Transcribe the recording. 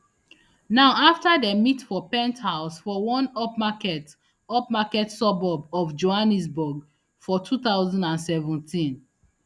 now afta dem meet for penthouse for one upmarket upmarket suburb of johannesburg for two thousand and seventeen